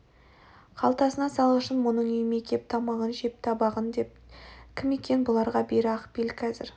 қалтасына салғышын мұның үйіме кеп тамағын жеп табағын теп деген кім екен бұларға бері акпел қазір